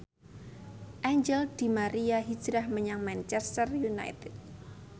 Angel di Maria hijrah menyang Manchester united